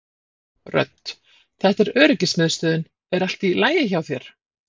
Rödd: Þetta er öryggismiðstöðin er allt í lagi hjá þér?